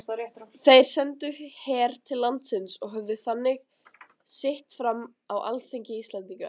Þeir sendu her til landsins og höfðu þannig sitt fram á alþingi Íslendinga.